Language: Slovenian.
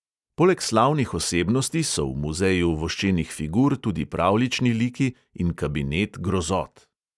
Poleg slavnih osebnosti so v muzeju voščenih figur tudi pravljični liki in kabinet grozot.